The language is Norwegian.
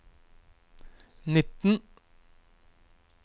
nitten